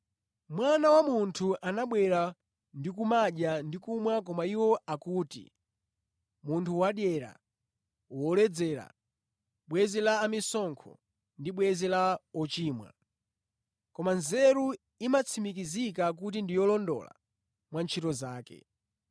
Mwana wa Munthu anabwera ndi kumadya ndi kumwa koma iwo akuti, ‘Munthu wadyera, woledzera, bwenzi la amisonkho ndi bwenzi la ochimwa.’ Koma nzeru imatsimikizika kuti ndi yolondola mwa ntchito zake.”